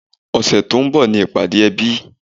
Ọ̀sẹ̀ tó ń bọ̀ ni ní ìpàdé ẹbí